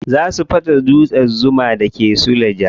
Za su fasa dutsen zuma da ke suleja.